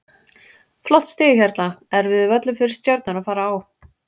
Flott stig hérna, erfiður völlur fyrir Stjörnuna að fara á.